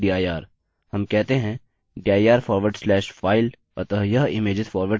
हम कहते हैं dir forward slash file अतः यह images forward slash file होगा